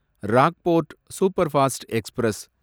Rockfort superfast express